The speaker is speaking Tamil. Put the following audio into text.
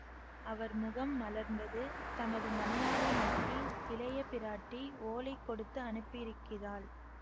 அவர் முகம் மலர்ந்தது தமது மனையாளை நோக்கி இளையபிராட்டி ஓலை கொடுத்து அனுப்பியிருக்கிறாள்